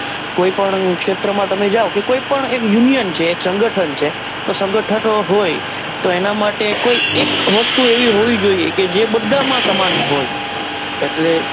કોઈ પણ ક્ષેત્રે માં તમે જાઓ કે કોઈ પણ એક union છે એક સંગઠન છે કે તો સંગઠનો હોય તો એના માટે કોઈ એક વસ્તુ એવી હોવી જોઈએ કે જે બધા માં સમાન હોય એટલે,